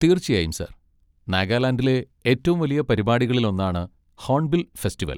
തീർച്ചയായും, സർ! നാഗാലാൻഡിലെ ഏറ്റവും വലിയ പരിപാടികളിലൊന്നാണ് ഹോൺബിൽ ഫെസ്റ്റിവൽ.